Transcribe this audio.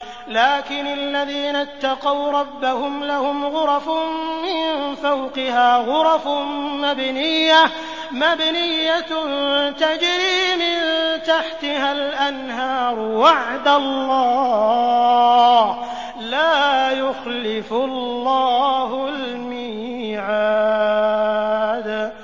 لَٰكِنِ الَّذِينَ اتَّقَوْا رَبَّهُمْ لَهُمْ غُرَفٌ مِّن فَوْقِهَا غُرَفٌ مَّبْنِيَّةٌ تَجْرِي مِن تَحْتِهَا الْأَنْهَارُ ۖ وَعْدَ اللَّهِ ۖ لَا يُخْلِفُ اللَّهُ الْمِيعَادَ